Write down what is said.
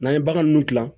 N'an ye bagan ninnu dilan